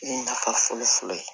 Nafa fɔlɔ fɔlɔ ye